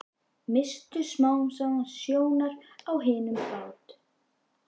Misstu smám saman sjónar á hinum bát